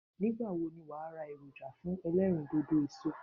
Nígbàwo ni wàá ra èròjà fún elérìndòdò èso